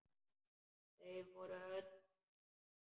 Þau voru öll saman.